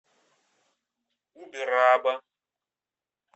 убераба